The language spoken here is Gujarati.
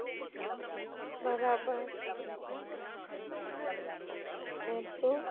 બરાબર કેમ છો